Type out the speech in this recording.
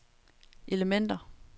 elementer